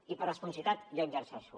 i per responsabilitat jo exerceixo